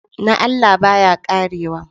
Na Allah, baya ƙarewa